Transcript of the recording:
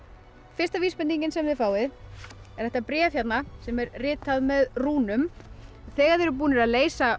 fyrsta vísbendingin sem þið fáið er þetta bréf hérna sem er ritað með rúnum þegar þið eruð búnir að leysa